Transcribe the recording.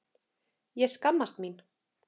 Ég skammast mín.